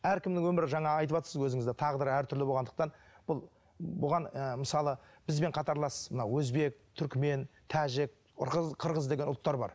әркімнің өмірі жаңа айтыватсыз өзіңіз де тағдыры әртүрлі болғандықтан бұл бұған ы мысалы бізбен қатарлас мына өзбек түрікмен тәжік қырғыз деген ұлттар бар